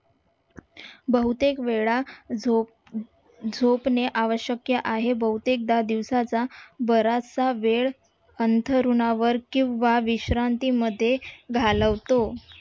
बहुतेक वेळा झोप झोपणे हे आवश्यक आहे बहुतेकदा दिवसाचा बराचसा वेळ अंथरुणावर किंवा विश्रांतीमध्ये घालवतो